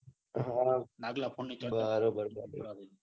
હા બરોબર બરોબ